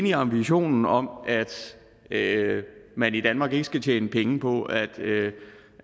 i ambitionen om at man i danmark ikke skal tjene penge på at